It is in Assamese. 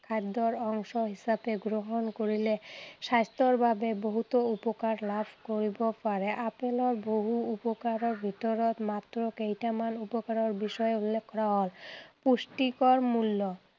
খাদ্য়ৰ অংশ হিচাপে গ্ৰহণ কৰিলে স্বাস্থ্য়ৰ বাবে বহুতো উপকাৰ লাভ কৰিব পাৰে। আপেলৰ বহু উপকাৰৰ ভিতৰত মাত্ৰ কেইটামান উপকাৰৰ বিষয়ে উল্লেখ কৰা হল। পুষ্টিকৰ মূল্য়